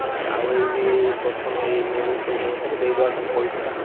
ଆଉ ଏଇ ପ୍ରଥମ ଏଇ ମିଳୁ ପଇସାପତ୍ର ଦେଇଦବା ତମ ପଇସାଟା।